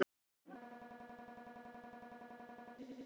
Það vissi ég alls ekki.